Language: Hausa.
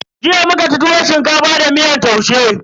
Jiya muka ci tuwon shinkafa da miyar taushe.